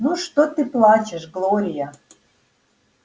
ну что ты плачешь глория